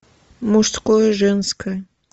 мужское женское